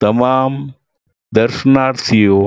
તમામ દર્શનાર્થીઓ